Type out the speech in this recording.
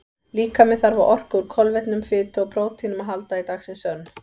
Líkaminn þarf á orku úr kolvetnum, fitu og próteinum að halda í dagsins önn.